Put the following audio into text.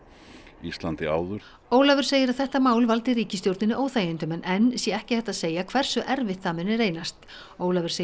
Íslandi áður Ólafur segir að þetta mál valdi ríkisstjórninni óþægindum en enn sé ekki hægt að segja hversu erfitt það muni reynast Ólafur segir